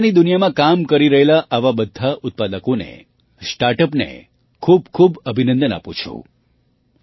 હું રમકડાંની દુનિયામાં કામ કરી રહેલા આવા બધા ઉત્પાદકોને સ્ટાર્ટ અપને ખૂબ ખૂબ અભિનંદન આપું છું